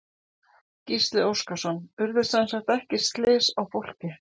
Gísli Óskarsson: Urðu semsagt ekki slys á fólki?